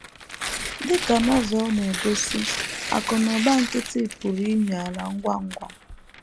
Dị ka Novel na - egosi, akụ̀ na ụba nkịtị pụrụ imi ala ngwa ngwa.